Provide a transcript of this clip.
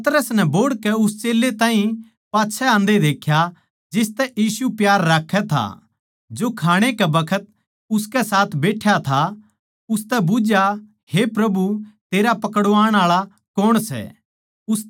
पतरस नै बोहड़कै उस चेल्लें ताहीं पाच्छै आंदे देख्या जिसतै यीशु प्यार राक्खै था खाणै कै बखत उसकै साथ बैठ्या था उसतै बुझ्झया हे प्रभु तेरा पकड़वाण आळा कौण सै